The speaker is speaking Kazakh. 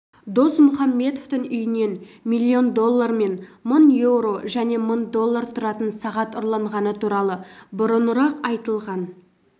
досмұхамбетовтің үйінен миллион доллар мен мың еуро және мың доллар тұратын сағат ұрланғаны туралы бұрынырақ айтылған